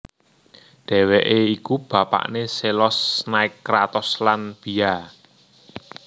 Dhèwèké iku bapakné Zelos Nike Kratos lan Bia